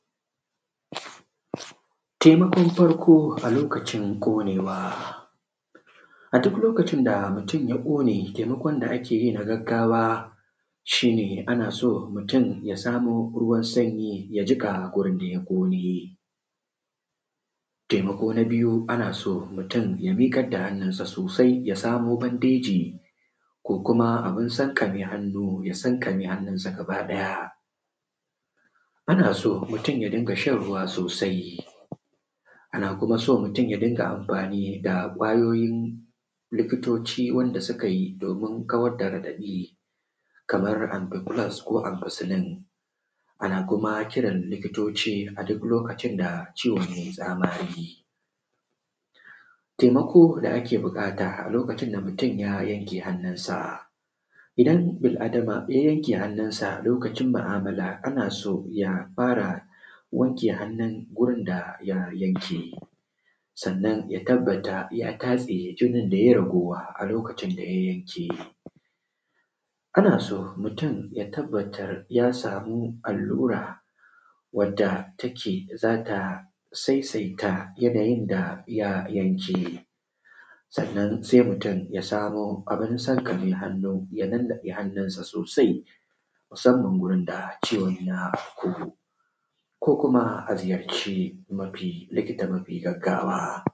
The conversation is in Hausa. Temakon farko a lokacin ƙonewa, a duk lokacin da mutun ya ƙone, temakon da ake yi na gaggawa, shi ne ana so mutun ya samo ruwan sanyi ya jiƙa gurin da ya ƙone Temako na biyu, ana so mutun, ya miƙad da hannunsa sosai, ya samo bandeji, ko kuma abin sankame hannu, ya sankame hannunsa gabaɗaya. Ana so mutun ya dinga shan ruwa sosai, ana kuma so mutun ya dinga amfani da ƙwayoyin likitoci wanda suka yi domin kawad da raɗaɗi, kamar “ampicloxe” ko “ampiceline”, ana kuma kiran likitoci a duk lokacin da ciwon yai tsamari. Temako da ake buƙata a lokacin da mutun ya yanke hannunsa, idan bil Adama ya yanke hannunsa lokacin ma’amala, ana so ya fara wanke hannun gurin da ya yanke, sannan ya tabbata ya tatse jinin da ye ragowa a lokacin da ya yanke. Ana so mutun ya tabbatar ya samu allura wadda take za ta saisaita yanayin da ya yanke Sannan, sai mutun ya samo abin sanƙame hannu, ya nannaɗe hannunsa sosai, musamman gurin da ciwon ya kogo, ko kuma a ziyarci mafi; likita mafi gaggawa.